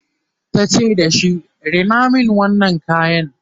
tace da shi"Rina min wannan kayan!"